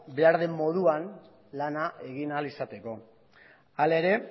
behar den moduan lana egin ahal izateko hala ere